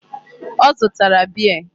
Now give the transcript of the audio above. Ọ zụtara beer.